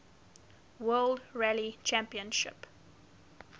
world rally championship